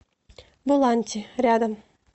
буланти рядом